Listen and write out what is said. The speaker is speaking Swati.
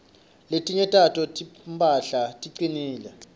letinye tato timphahla ticinile